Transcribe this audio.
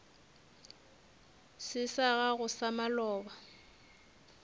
se sa gago sa maloba